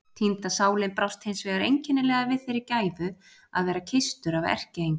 Týnda sálin brást hins vegar einkennilega við þeirri gæfu að vera kysstur af erkiengli.